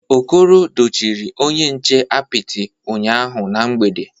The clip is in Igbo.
Okoro dochiri onye nche apịtị ụnyahụ na mgbede